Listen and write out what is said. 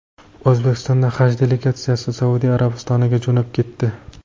O‘zbekiston haj delegatsiyasi Saudiya Arabistoniga jo‘nab ketdi.